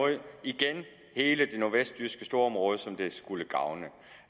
igen hele det nordvestjyske storområde som det skulle gavne